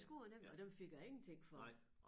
Det skulle jeg nemlig og dem fik jeg ingenting for